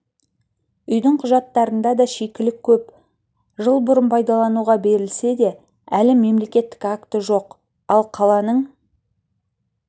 үйдің құжаттарында да шикілік көп жыл бұрын пайдалануға берілсе де әлі мемлекеттік акті жоқ ал қаланың